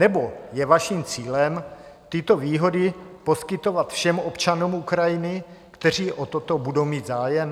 Nebo je vašim cílem tyto výhody poskytovat všem občanům Ukrajiny, kteří o toto budou mít zájem?